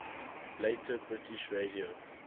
later british radio